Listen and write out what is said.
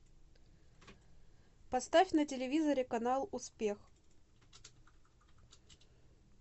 поставь на телевизоре канал успех